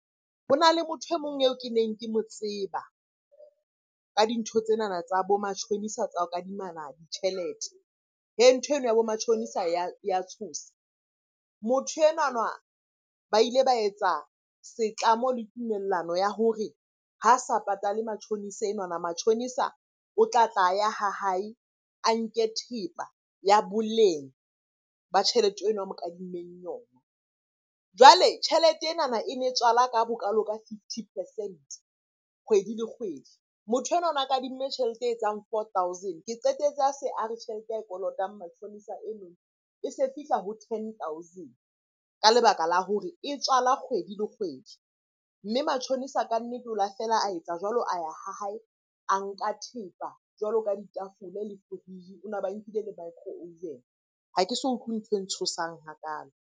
Ho na le motho e mong eo ke neng ke mo tseba ka dintho tsenana tsa bo matjhonisa tsa ho kadimana ditjhelete. Ntho eno ya bo matjhonisa ya tshosa. Motho enwana ba ile ba etsa setlamo le tumellano ya hore ha sa patale matjhonisa enwana, matjhonisa o tlatla a ya ha hae a nke thepa ya boleng ba tjhelete eno a mo kadimmeng yona. Jwale tjhelete enana e ne tswala ka bokalo ka fifty percent kgwedi le kgwedi. Motho enwa na kadimme tjhelete e etsang four thousand, ke qetetse a se a re tjhelete ya e kolotang matjhonisa eno e se fihla ho ten thousand ka lebaka la hore e tswala kgwedi le kgwedi. Mme matjhonisa kannete o la feela a etsa jwalo a ya ha hae, a nka thepa jwalo ka ditafole le fridge. O ba nkile le micro oven. Ha ke so utlwe ntho e ntshosang hakalo.